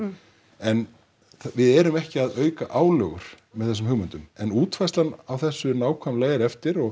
en við erum ekki að auka álögur með þessum hugmyndum en útfærslan á þessu nákvæmlega er eftir og